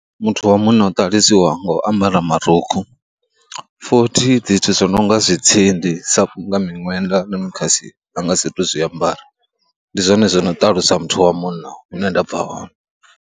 Muthu wa munna u ṱalusiwa nga u ambara marukhu, futhi zwithu zwi no nga dzi tsindi sa nga miṅwenda na mikhasi nangwe a satu Zwi ambara. Ndi zwone zwo no ṱalusa muthu wa munna hune nda bva hone.